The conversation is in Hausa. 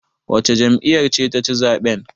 wacce jam'iyyar ce ta ci zaɓen?